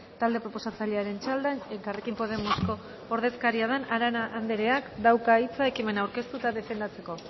talde proposatzailearen txanda elkarrekin podemosko ordezkaria den arana andereak dauka hitza ekimena aurkeztuta eta defendatzeko